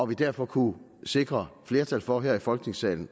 vi derfor kunne sikre flertal for her i folketingssalen